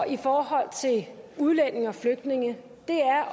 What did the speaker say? i forhold til udlændinge og flygtninge